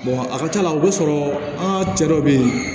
a ka ca la o b'a sɔrɔ an ka cɛ dɔw be yen